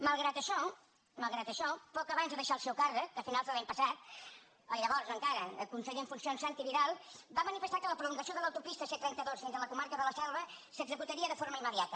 malgrat això malgrat això poc abans de deixar el seu càrrec a finals de l’any passat el llavors encara conseller en funcions santi vila va manifestar que la prolongació de l’autopista c trenta dos fins a la comarca de la selva s’executaria de forma immediata